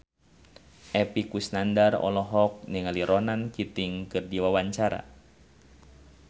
Epy Kusnandar olohok ningali Ronan Keating keur diwawancara